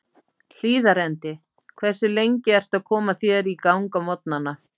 Hlíðarendi Hversu lengi ertu að koma þér í gang á morgnanna?